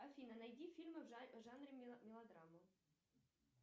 афина найди фильмы в жанре мелодрамы